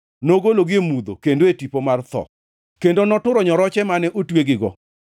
Nogologi e mudho kendo e tipo mar tho kendo noturo nyoroche mane otuegigo.